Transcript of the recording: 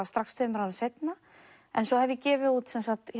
strax tveimur árum seinna en svo hef ég gefið út